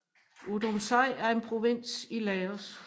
Udomxai er en provins i Laos